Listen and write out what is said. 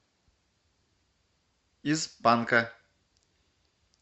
из панка